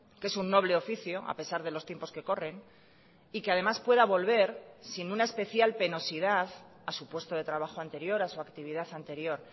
que es un noble oficio a pesar de los tiempos que corren y que además pueda volver sin una especial penosidad a su puesto de trabajo anterior a su actividad anterior